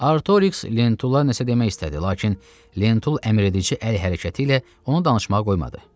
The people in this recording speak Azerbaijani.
Artorix Lentulla nəsə demək istədi, lakin Lentul əmr edici əl hərəkəti ilə onu danışmağa qoymadı.